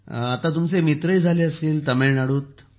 प्रधानमंत्री जीः तर आता खूप मित्रही झाले असतील तामिळनाडूत